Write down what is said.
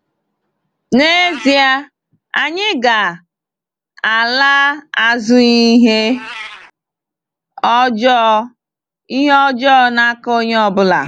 N'ezie, anyị ga-“ala azụghị ihe ọjọọ ihe ọjọọ n’aka onye ọ bụla.”